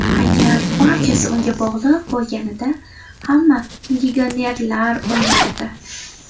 Agar barchasi unga bog‘liq bo‘lganida, hamma legionerlar o‘ynardi.